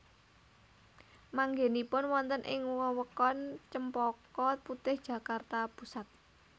Manggènipun wonten ing wewengkon Cempaka Putih Jakarta Pusat